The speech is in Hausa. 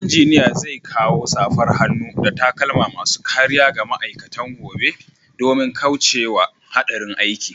Engineer zai kawo safar hannu da takalma masu kariya ga ma'aikatan gobe domin kauce wa hadarin aiki.